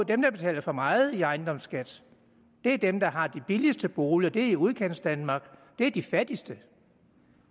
dem der betaler for meget i ejendomsskat er dem der har de billigste boliger og det er i udkantsdanmark det er de fattigste